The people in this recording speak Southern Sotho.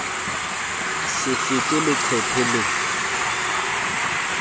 bo se fete leqephe le